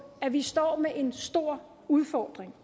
at vi står med en stor udfordring